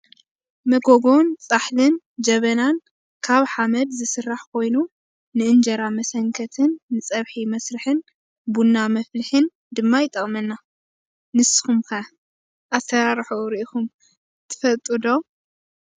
መጎጎን ፃሕልን ጀበናን ካብ ሓመድ ዝስራሕ ኮይኑ ንእንጀራ መሰንከትን ንፀብሒ መስርሕን ቡና መፍልሒን ድማ ይጠቅመና። ንስኩም ከ ኣራርሕኡ ሪኢኩም ዶ ትፈልጡ?